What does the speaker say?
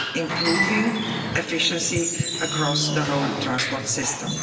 improving efficiency across the whole transport system.